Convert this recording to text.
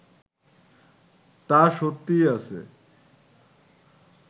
তা সত্যিই আছে